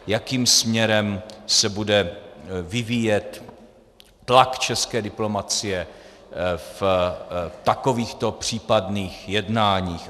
Jakým směrem se bude vyvíjet tlak české diplomacie v takovýchto případných jednáních?